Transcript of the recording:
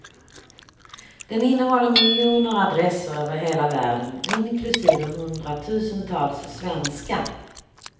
Den innehåller miljoner adresser över hela världen, inklusive hundratusentals svenska.